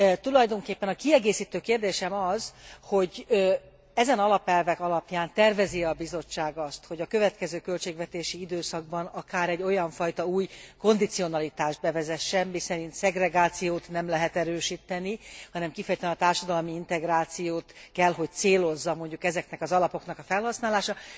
Tulajdonképpen a kiegészítő kérdésem az, hogy ezen alapelvek alapján tervezi e a Bizottság azt, hogy a következő költségvetési időszakban akár egy olyanfajta új kondicionalitást bevezessen, miszerint szegregációt nem lehet erősíteni, hanem kifejezetten a társadalmi integrációt kell hogy célozza mondjuk ezeknek az alapoknak a felhasználása.